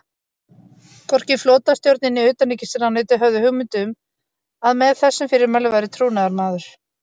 Hvorki flotastjórnin né utanríkisráðuneytið höfðu hugmynd um, að með þessum fyrirmælum væri trúnaðarmaður